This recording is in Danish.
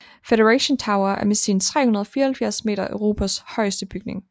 Federation Tower er med sine 374 m Europas højeste bygning